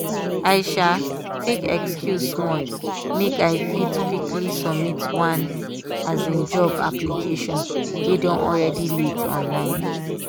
i um tak excuse small make i fit quickly submit one um job application wey don already late online.